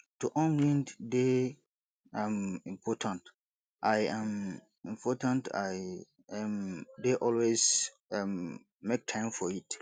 to unwind dey um important i um important i um dey always um make time for it